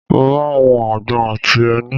mo máa ń hu agbọ̀n àti ẹni